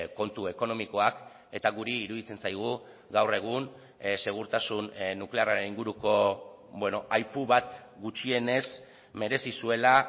kontu ekonomikoak eta guri iruditzen zaigu gaur egun segurtasun nuklearraren inguruko aipu bat gutxienez merezi zuela